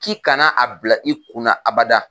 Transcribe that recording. K'i kana a bila, i kunna abada